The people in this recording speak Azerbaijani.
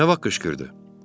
Nə vaxt qışqırdı?